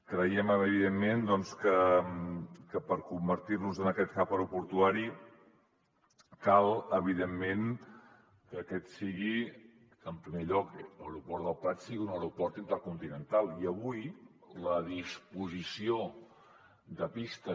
creiem evi·dentment doncs que per convertir·nos en aquest hub aeroportuari cal evidentment en primer lloc que l’aeroport del prat sigui un aeroport intercontinental i avui la disposició de pistes